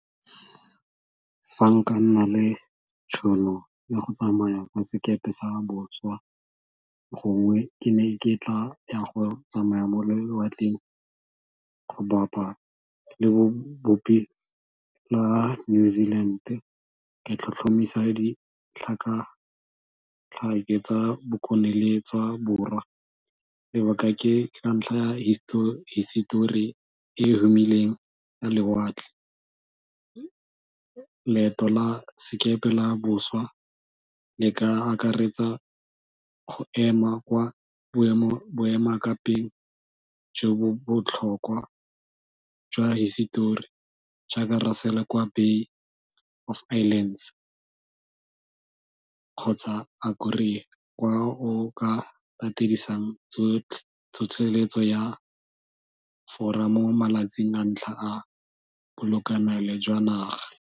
Fa nka nna le tšhono ya go tsamaya ka sekepe sa boswa gongwe ke ne ke tla ya go tsamaya mo lewatleng go bapa le bobopi la New Zealand ka tlhotlhomisa ditlhakatlhake tsa Bokone le tsa Borwa lebaka ke ka ntlha ya hisetori e humileng ya lewatle. Leeto la sekepe la boswa le ka akaretsa go ema kwa boemakepeng jo bo botlhokwa jwa hisetori jaaka Bay of Islands, kgotsa kwa o ka patedisang tlhotlheletso ya Fora mo malatsing a ntlha a bolekanelo jwa naga.